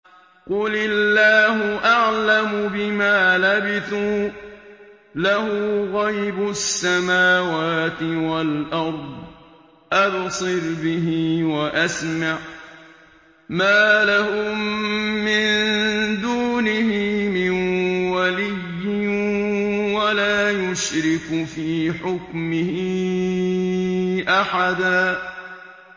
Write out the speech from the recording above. قُلِ اللَّهُ أَعْلَمُ بِمَا لَبِثُوا ۖ لَهُ غَيْبُ السَّمَاوَاتِ وَالْأَرْضِ ۖ أَبْصِرْ بِهِ وَأَسْمِعْ ۚ مَا لَهُم مِّن دُونِهِ مِن وَلِيٍّ وَلَا يُشْرِكُ فِي حُكْمِهِ أَحَدًا